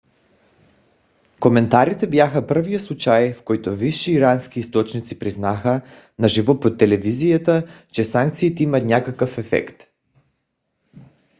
коментарите бяха първият случай в който висши ирански източници признаха на живо по телевизията че санкциите имат някакъв ефект